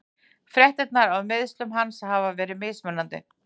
Fréttirnar af meiðslum hans hafa verið mismunandi.